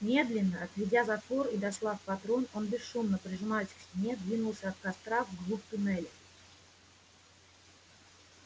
медленно отведя затвор и дослав патрон он бесшумно прижимаясь к стене двинулся от костра в глубь туннеля